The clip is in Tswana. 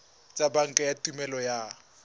tsa banka tsa tuelo ya